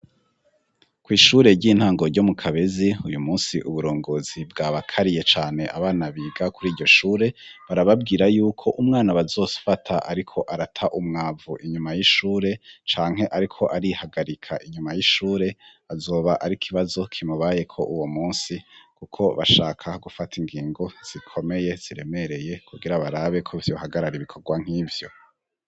Kw'ishure ry'intango ryo mu kabezi, uyu munsi uburongozi bwabakariye cane abana biga kuri iryo shure, barababwira yuko umwana bazofata ariko arata umwavu inyuma y'ishure canke ariko arihagarika inyuma y'ishure, azoba ari kibazo kimubayeko uwo munsi. Kuko bashaka gufata ingingo zikomeye ziremereye kugira barabe ko vyohagarara ibikorwa nk'ivyo.